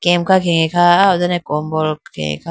kemka khege kha aya ho done kombol khege kha.